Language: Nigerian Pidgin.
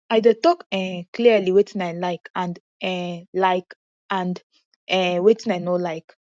i dey talk um clearly wetin i like and um like and um wetin i no like